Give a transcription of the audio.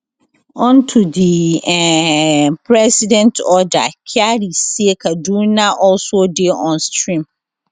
unto di um president order kyari say kaduna also dey on stream